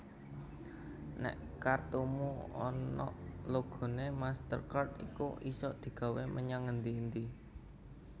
Nek kartumu onok logone MasterCard iku isok digawe menyang ngendi endi